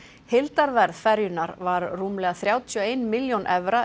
heildarverð ferjunnar var rúmlega þrjátíu og ein milljón evra